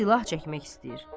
Silah çəkmək istəyir.